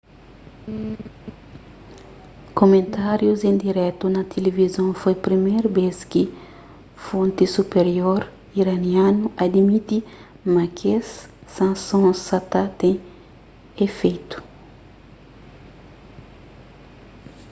kumentárius en diretu na tilivizon foi priméru bês ki fonti supirior iranianu adimiti ma kes sansons sa ta ten ifeitu